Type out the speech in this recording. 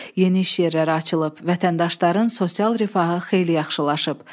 Yeni iş yerləri açılıb, vətəndaşların sosial rifahı xeyli yaxşılaşıb.